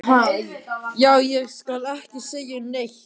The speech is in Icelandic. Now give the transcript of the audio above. Já, ég skal ekki segja neitt.